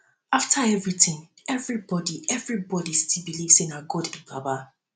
afta everything everybody everybody still believe say na god be baba